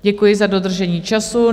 Děkuji za dodržení času.